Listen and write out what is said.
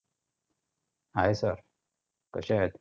hi sir कशे आहेत?